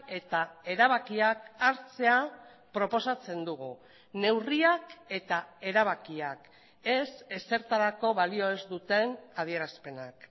eta erabakiak hartzea proposatzen dugu neurriak eta erabakiak ez ezertarako balio ez duten adierazpenak